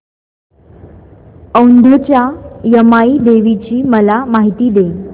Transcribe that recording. औंधच्या यमाई देवीची मला माहिती दे